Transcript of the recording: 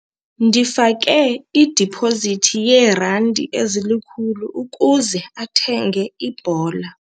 Ndifake idipozithi yeerandi ezilikhulu ukuze athenge ibhola.